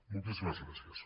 moltíssimes gràcies